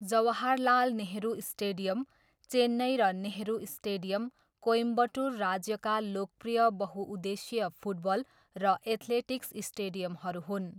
Jawaharlal Nehru stadium, Chennai र Nehru stadium, Coimbatore राज्यका लोकप्रिय बहुउद्देश्यीय फुटबल र एथलेटिक्स स्टेडियमहरू हुन्।